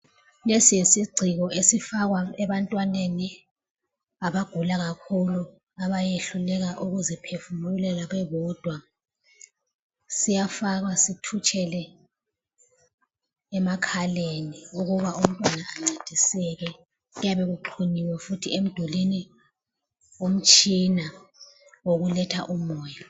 Lesi yisiciko esifakwa ebantwaneni abagula kakhulu, abayehluleka ukuziphefumulela bebodwa. Siyafakwa sithutshele emakhaleni ukuba umntwana ancediseke. Kuyabe kuxhunyiwe futhi emdulini umtshina wokuletha umoya.